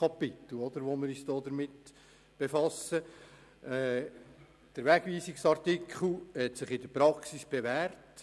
Der Wegweisungsartikel hat sich in der Praxis bewährt.